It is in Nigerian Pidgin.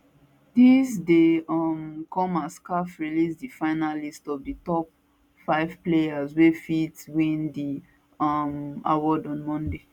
dis dey um come as caf release di final list of di top five players wey fit win di um award on monday